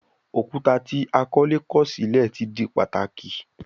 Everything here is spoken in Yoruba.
Òkúta tí akọ́lé kọ̀ sílẹ̀ ti di pàtàkì